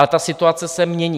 Ale ta situace se mění.